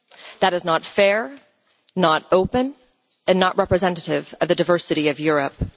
That is not fair, not open and not representative of the diversity of Europe.